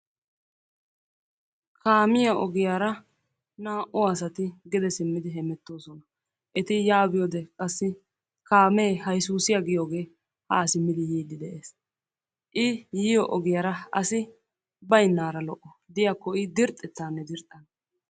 kaamiyaa oogiyaara naa"u asati geede siimmidi heemetoosona. eti yaa biyoode kaamee hayzuusiyaa giyoogee qassi haa simmidi yiidi de"ees. i yiiyoo ogiyaara asi baynnaara lo"o diyaakko i dirxxetaanne dirxxana.